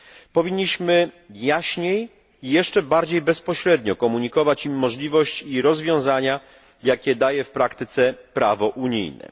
Powinniśmy jaśniej i jeszcze bardziej bezpośrednio komunikować im możliwość i rozwiązania, jakie daje w praktyce prawo unijne.